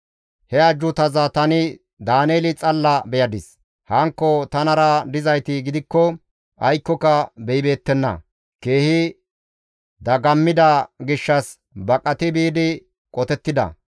He ajjuutaza tani Daaneeli xalla beyadis; hankko tanara dizayti gidikko aykkoka beyibeettenna; keehi dagammida gishshas baqati biidi qotettida.